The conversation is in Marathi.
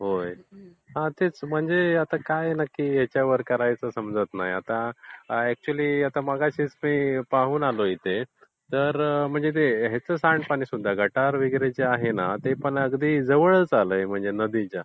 होय. हा तेच म्हणजे आता काय नक्की याच्यावर करायचं समजत नाही. आता अक्त्चुयली मगाशीच मी पाहून आलो इथे. तर याचं सांडपाणी सुद्धा म्हणजे गटार वगैरे ह्याचं पाणी सुद्धा जवळ आलं आहे म्हणजे नदीच्या.